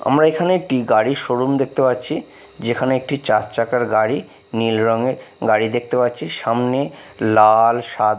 আমরা এখানে একটি গাড়ির শো-রুম দেখতে পাচ্ছি যেখানে একটি চার চাকার গাড়ি নীল রঙের গাড়ি দেখতে পাচ্ছি সামনে লাল সাদা--